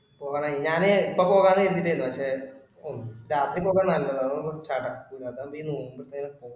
പോകണമായിരുന്നു ഞാന് ഇപ്പൊ പോകാന്ന് കരുതി ഇരിക്കയാരുന്നു പക്ഷെ ഓ രാത്രി പോക്കാ നല്ലതു അതാവുമ്പോ ചടയ്ക്കുല്ല അതാണ് ഈ നോക്കുന്നെ ഇപ്പൊ.